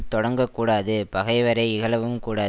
தொடங்கக்கூடாது பகைவரை இகழவும் கூடா